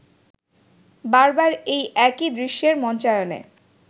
বারবার এই একই দৃশ্যের মঞ্চায়নে